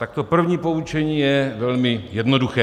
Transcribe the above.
Tak to první poučení je velmi jednoduché.